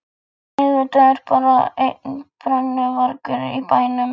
Auðvitað er bara einn brennuvargur í bænum!